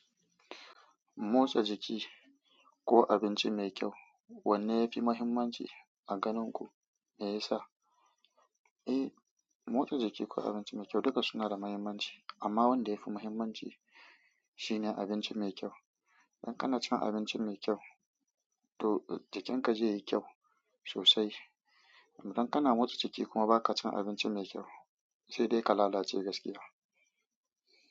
Motsa jiki ko abinci mai kyau wanne yafi muhimmanci a ganin ku? Me yasa? Eh, motsa jiki ko abinci mai kyau duka suna da muhimmanci amma wanda yafi muhimmanci. Shine abinci mai kyau. Idan kana cin abinci mai kyau to jikin ka zai yi kyau sosai. Dan kana motsa jiki kuma ba ka cin abinci mai kyau sai dai ka lalace gaskiya.